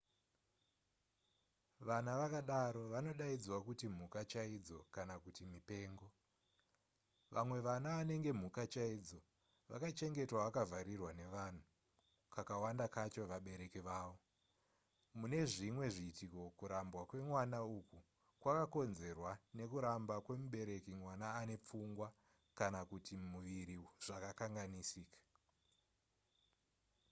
vana vakadaro vanodaidzwa kuti mhuka chaidzo kana kuti mipengo. vamwe vana vanenge mhuka chaidzo vakachengetwa vakavharirwa nevanhu kakawanda kacho vabereki vavo; mune zvimwe zviitiko kurambwa kwemwana uku kwakakonzerwa nekuramba kwemubereki mwana ane pfungwa kana kuti muviri zvakakanganisika